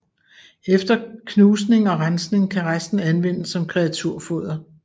Efter knusning og rensning kan resten anvendes som kreaturfoder